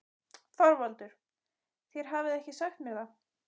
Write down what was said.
ÞORVALDUR: Þér hafið ekki sagt mér það.